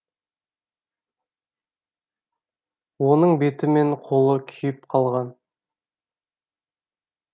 оның беті мен қолы күйіп қалған